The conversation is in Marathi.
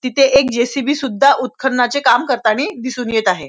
तिथे एक जे.सी.बी. सुद्धा उत्खननाचे काम करतानी दिसून येत आहे.